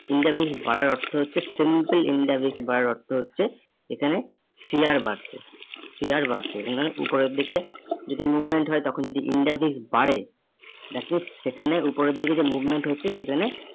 India base বাড়ার অর্থ হচ্ছে simple India base বাড়ার অর্থ হচ্ছে এখানে share বাড়ছে। Share বাড়ছে মানে উপরের দিকে যদি movement হয় তখন যদি India base বাড়ে that means সেখানে উপরের দিকে যে movement হচ্ছে সেখানে